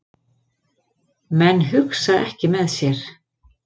Menn hugsa ekki með sér